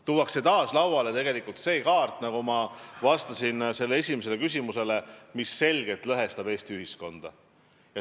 Tuuakse taas lauale see kaart, mis, nagu ma esimesele küsimusele vastates märkisin, selgelt lõhestab Eesti ühiskonda.